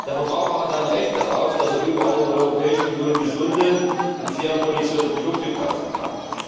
Der Verbraucher hat ein Recht darauf, dass er überall in der Europäischen Union gesunde und fair produzierte Produkte kaufen kann.